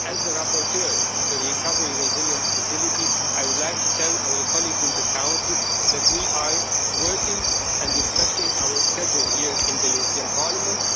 As the rapporteur for the Recovery and Resilience Facility, I would like to tell our colleagues in the Council that we are working and respecting our schedule here in the European Parliament.